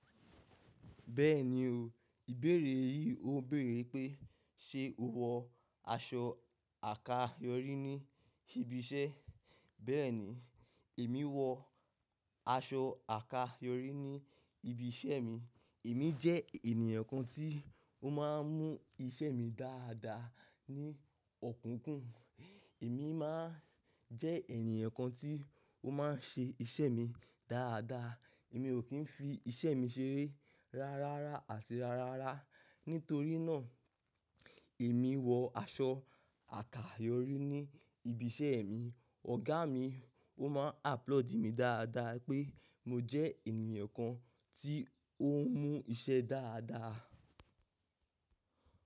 Bẹ́ẹ̀ni o, ìbéèrè yìí ó béèrè pé ṣe o wọ aṣọ àkayòrí ní ṣíbí iṣẹ́. Bẹ́ẹ̀ni, èmi wọ aṣọ àkayòrí ní ibi iṣẹ́ mi. Èmi jẹ́ ènìyàn kan tí ó máa ń mú iṣẹ́ mi dáadáa ní ọ̀kúkún. Èmi máa ń jẹ́ ènìyàn kan tí ó máa ń ṣe iṣẹ́ mi dáadáa. Èmi ò kí ń fi iṣẹ́ mi ṣeré rárára àti rárára. Nítorí náà, èmi wọ aṣọ àkayòrí ní ibi iṣẹ́ mi. Ọ̀gá mi ó máa ń applaud mi dáadáa pé mo jẹ́ ènìyàn kan tí ó ń mú iṣẹ́ dáadáa.